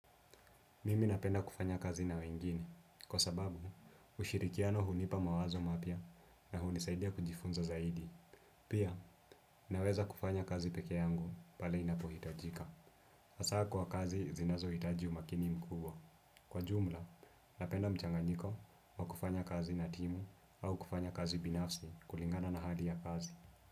Mimi napenda kufanya kazi na wengine, kwa sababu ushirikiano hunipa mawazo mapya na hunisaidia kujifunza zaidi. Pia, naweza kufanya kazi peke yangu pale inapohitajika. Hasa kwa kazi zinazohitaji umakini mkubwa. Kwa jumla, napenda mchanganyiko wa kufanya kazi na timu au kufanya kazi binafsi kulingana na hali ya kazi.